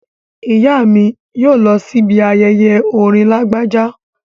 Ìyá mi yóò lọ sí ibi ayẹyẹ orin Lágbájá